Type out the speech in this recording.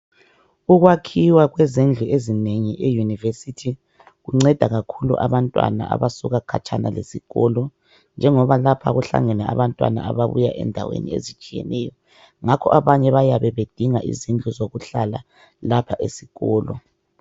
ukwakhiwa kwezindlu ezinengi e university kunceda kakhulu abantwana abasuka khatshana kwesikolo njengoba lapha kuhlangene abantwana ababuya endaweni ezitshiyeneyo ngakho abanye bayabe bedinga izindlu zokuhlala lapha esikolo